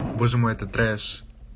боже мой это треш